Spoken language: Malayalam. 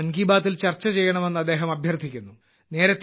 ഇത് മൻ കി ബാത്തിൽ ചർച്ച ചെയ്യണമെന്ന് അദ്ദേഹം അഭ്യർത്ഥിക്കുന്നു